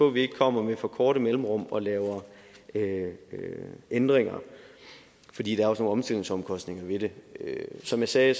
at vi ikke kommer med for korte mellemrum og laver ændringer fordi der også er nogle omstillingsomkostninger ved det som jeg sagde